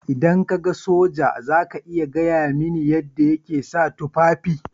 Idan ka ga soja za ka iya gaya mini yadda yake sa tufafi.